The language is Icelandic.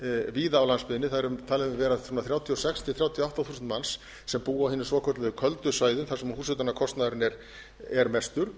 víða á landsbyggðinni það eru talin vera þrjátíu og sex til þrjátíu og átta þúsund manns sem búa á hinum svokölluðu köldu svæðum þar sem húshitunarkostnaðurinn er mestur